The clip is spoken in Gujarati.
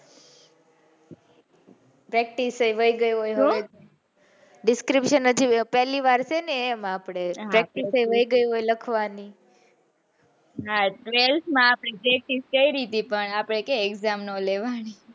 practice એ વહી ગયી હોય ને description પેલી વાર છે ને એમ આપડે. હા practice એ વહી ગયી હોય લખવાની. હા twelfth માં અપડે કઈ રીતે પણ આપે exam ના લેવાની,